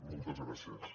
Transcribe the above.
moltes gràcies